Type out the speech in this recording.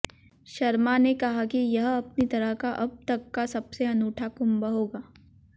शर्मा ने कहा कि यह अपनी तरह का अब तक का सबसे अनूठा कुंभ होगा